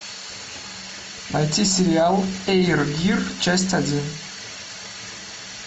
найти сериал эйр гир часть один